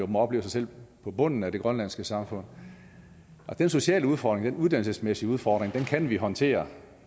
må opleve sig selv på bunden af det grønlandske samfund den sociale udfordring den uddannelsesmæssige udfordring kan vi håndtere